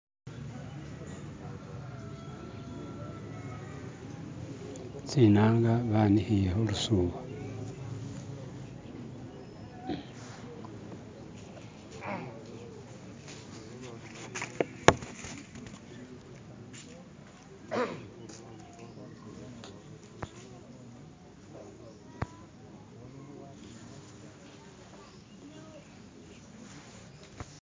Zinanga banikile kulushubo